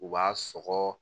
U b'a sɔgɔ